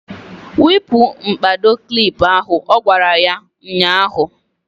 Wepu mkpado klip ahụ! Ọ gwara ya ụnyaahụ.